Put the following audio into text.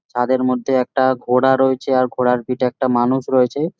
চাঁদের মধ্যে একটা ঘোড়া রয়েছে আর একটা ঘোড়ার পিঠে একটা মানুষ রয়েছে